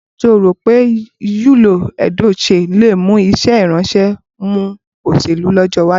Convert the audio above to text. Ǹjẹ́ o rò pé Yul Edochie le mú iṣẹ́ ìránṣẹ́ mọ́ òṣèlú lọ́jọ́ iwájú?